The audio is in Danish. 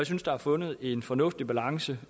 synes der er fundet en fornuftig balance